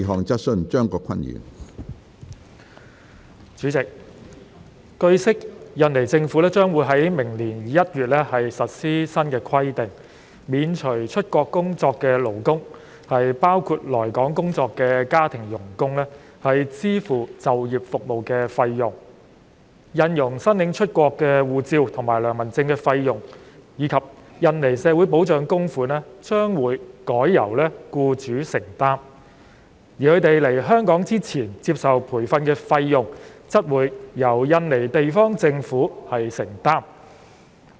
主席，據悉，印尼政府將於明年1月實施新規定，免除出國工作的勞工支付就業服務的費用。印傭申領出國護照和良民證的費用，以及印尼社會保障供款將改由其僱主承擔，而他們來港前接受培訓的費用則會改由印尼地方政府承擔。